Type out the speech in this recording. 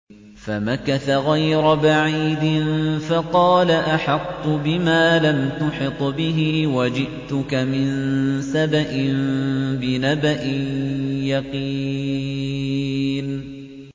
فَمَكَثَ غَيْرَ بَعِيدٍ فَقَالَ أَحَطتُ بِمَا لَمْ تُحِطْ بِهِ وَجِئْتُكَ مِن سَبَإٍ بِنَبَإٍ يَقِينٍ